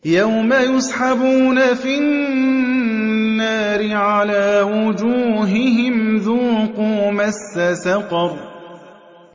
يَوْمَ يُسْحَبُونَ فِي النَّارِ عَلَىٰ وُجُوهِهِمْ ذُوقُوا مَسَّ سَقَرَ